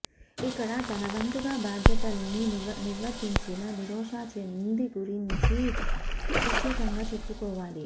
ఇక్కడ తన వంతుగా బాధ్యతల్ని నిర్వర్తించిన నిరోషా చెంది గురించి ప్రత్యేకంగా చెప్పుకోవాలి